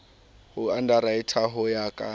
ho underwriter ho ya ka